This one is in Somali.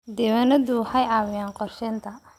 Diiwaanadu waxay caawiyaan qorsheynta.